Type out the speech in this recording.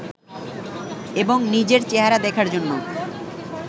এবং নিজের চেহারা দেখার জন্য